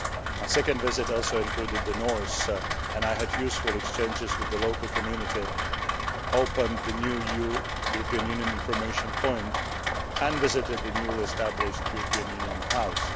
My second visit also included the north and I had useful exchanges with the local community, opened the new European Union Information Point, and visited the newly established European Union House.